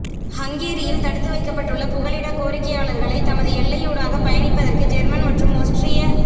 ஹங்கேரியில் தடுத்து வைக்கப்பட்டுள்ள புகலிடக கோரிக்கையாளர்களை தமது எல்லையூடாக பயணிப்பதற்கு ஜேர்மன் மற்றும் ஒஸ்ட்ரிய